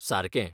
सारकें!